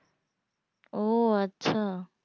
ও আচ্ছা